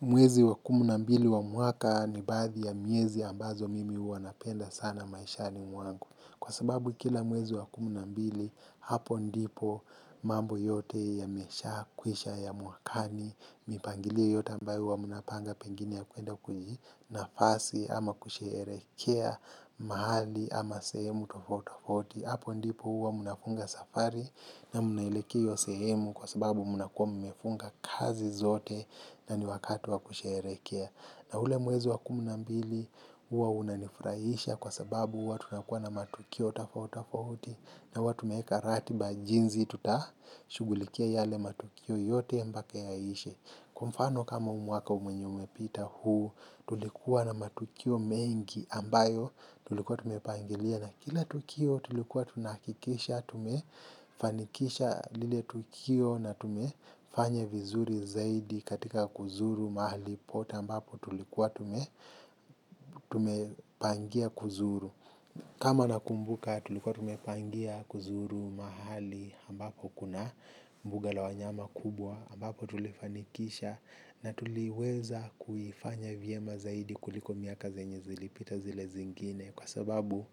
Mwezi wa kumi na mbili wa mwaka ni baadhi ya miezi ambazo mimi huwa napenda sana maishani mwangu. Kwa sababu kila mwezi wa kumi na mbili, hapo ndipo mambo yote yameshakwisha, ya mwakani, mipangilio yote ambayo huwa mnapanga pengine ya kuenda kujinafasi ama kusherehekea mahali ama sehemu tofauti tofauti. Hapo ndipo huwa mnafunga safari na mnaelekea hiyo sehemu kwa sababu mnakuwa mmefunga kazi zote na ni wakati wa kusherehekea. Na ule mwezi wa kumi na mbili huwa unanifurahisha kwa sababu huwa tunakuwa na matukio tafauti tafauti na huwa tumeweka ratiba jinzi tutashughulikia yale matukio yote mpaka yaishe. Kwa mfano kama huu mwaka mwenye umepita huu tulikuwa na matukio mengi ambayo tulikuwa tumepangilia. Na kila tukio tulikuwa tunahakikisha, tumefanikisha lile tukio na tumefanya vizuri zaidi katika kuzuru mahali pote ambapo tulikuwa tumepangia kuzuru. Kama nakumbuka tulikuwa tumepangia kuzuru mahali ambapo kuna mbuga la wanyama kubwa ambapo tulifanikisha na tuliweza kuifanya vyema zaidi kuliko miaka zenye zilipita zile zingine. Kwa sababu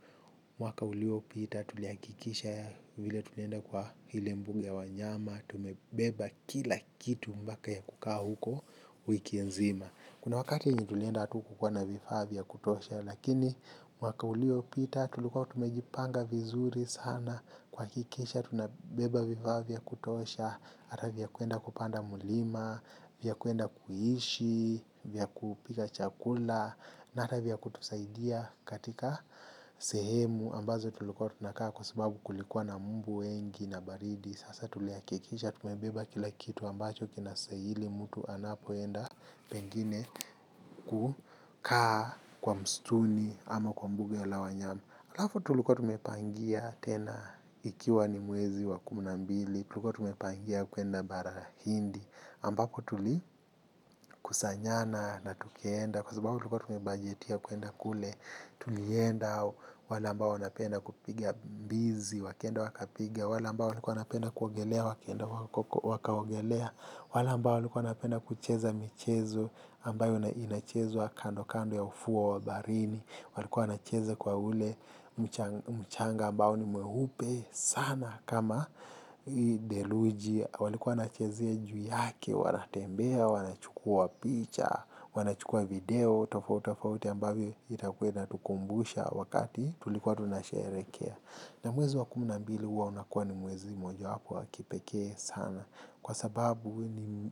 mwaka uliopita tulihakikisha vile tulienda kwa ile mbuga ya wanyama tumebeba kila kitu mpaka ya kukaa huko wiki nzima kuna wakati yenye tulienda hatukukuwa na vifaa vya kutosha lakini mwaka uliopita tulikuwa tumejipanga vizuri sana kuhakikisha tunabeba vifaa vya kutosha ata vya kuenda kupanda mlima, vya kuenda kuishi, vya kupika chakula. Na hata vya kutusaidia katika sehemu ambazo tulikuwa tunakaa kwa sababu kulikuwa na mbu wengi na baridi. Sasa tulihakikisha tumebeba kila kitu ambacho kinastahili mtu anapoenda pengine kukaa kwa msituni ama kwa mbuga la wanyama halafu tulikuwa tumepangia tena ikiwa ni mwezi wa kumi na mbili tulikuwa tumepangia kuenda barahindi ambako tulikusanyana na tukaenda kwa sababu tulikuwa tumebajetia kuenda kule tulienda wale ambao wanapenda kupiga mbizi wakaenda wakapiga wale ambao walikuwa wanapenda kuogelea wakaenda wakaogelea wale ambao walikuwa wanapenda kucheza michezo ambayo inachezwa kando kando ya ufuo wa baharini walikuwa wanacheza kwa ule mchanga ambao ni mweupe sana kama theluji walikuwa wanachezea juu yake wanatembea, wanachukua picha, wanachukua video tofauti tofauti ambavyo itakuwa inatukumbusha wakati tulikuwa tunasherehekea. Na mwezi wa kumi na mbili huwa unakuwa ni mwezi mojawapo wa kipekee sana. Kwa sababu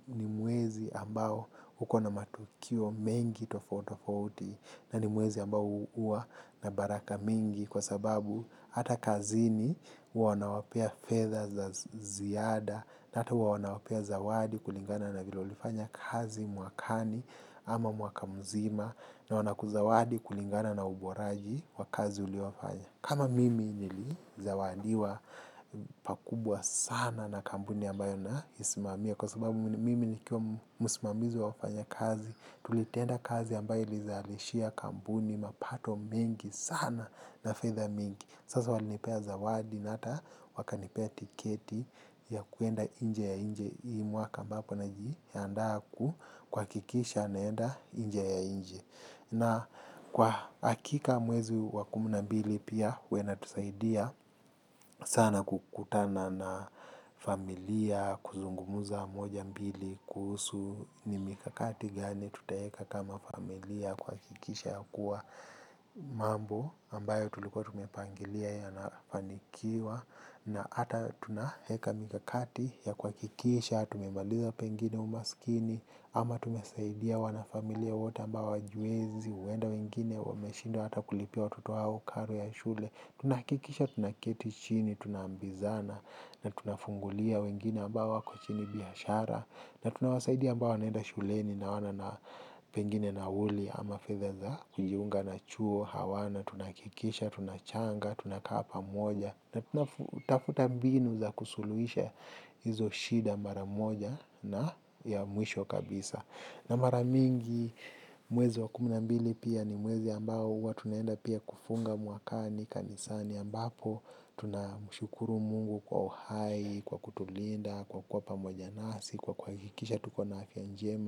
ni mwezi ambao uko na matukio mengi tofauti tofauti na ni mwezi ambao huwa na baraka mingi kwa sababu hata kazini huwa wanawapea fedha za ziada na hata huwa wana wapea zawadi kulingana na vile ulifanya kazi mwakani ama mwaka mzima na wanakuzawadi kulingana na uboraji wa kazi uliofanya. Kama mimi nilizawadiwa pakubwa sana na kampuni ambayo naisimamia kwa sababu mimi nikiwa msimamizi wa wafanya kazi, tulitenda kazi ambayo ilizalishia kampuni mapato mengi sana na fedha mingi. Sasa walinipea zawadi na hata wakanipea tiketi ya kuenda nje ya chi hii mwaka ambapo najiandaa kuhakikisha naenda nje ya nchi. Na kwa hakika mwezi wa kumi na mbili pia huwa inatusaidia sana kukutana na familia, kuzungumza moja mbili, kuhusu, ni mikakati gani tutaeka kama familia kuhakikisha ya kuwa mambo ambayo tulikuwa tumepangilia yanafanikiwa na hata tunaeka mikakati ya kuhakikisha tumemaliza pengine umaskini ama tumesaidia wanafamilia wote ambao hawajiwezi huenda wengine wameshindwa hata kulipia watoto wao karo ya shule tunahakikisha tuna keti chini, tunaambizana na tunafungulia wengine ambao wako chini biashara na tunawasaidia ambao wanaenda shuleni na hawana pengine nauli ama fedha za kujiunga na chuo, hawana, tunahakikisha, tunachanga, tunakaa pamoja. Na tunatafuta mbinu za kusuluhisha hizo shida mara moja na ya mwisho kabisa. Na mara mingi mwezi wa kumi na mbili pia ni mwezi ambao huwa tunaenda pia kufunga mwakani kanisani ambapo Tunamshukuru Mungu kwa uhai, kwa kutulinda, kwa kuwa pamoja nasi, kwa kuhakikisha tuko na afya njema.